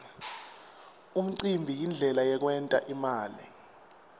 umcimbi yindlela yekwent imali